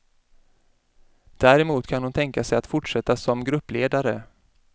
Däremot kan hon tänka sig att fortsätta som gruppledare.